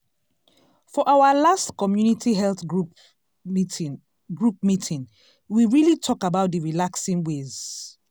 for our last community health group meeting group meeting we really talk about d relaxing ways.